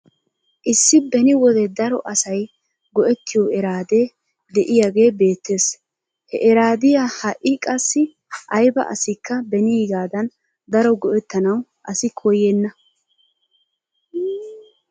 Issi beni wode daro asay go'ettiyoo eraadee de'iyaagee beettes. He eraadiyaa ha'i qassi ayba asikka beniigaadan daro go'ettanaw asi koyenna.